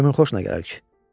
Kimin xoşuna gələr ki?